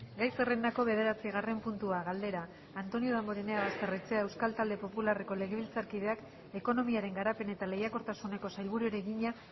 gai zerrendako bederatzigarren puntua galdera antonio damborenea basterrechea euskal talde popularreko legebiltzarkideak ekonomiaren garapen eta lehiakortasuneko sailburuari egina